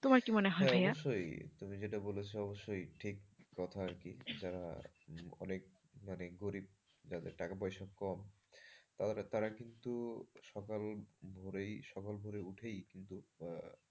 তোমার কি মনে ভাইয়া? হ্যাঁ অবশ্যই তুমি যেটা বলেছ অবশ্যই ঠিক কথা আরকি সেটা অনেক মানে গরিব যাদের টাকা পয়সা কম তারা কিন্তু সকাল ভোরেই সকাল ভোরে উঠেই কিন্তু।